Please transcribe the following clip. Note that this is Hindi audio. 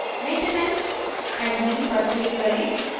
maintenance admin पर click करें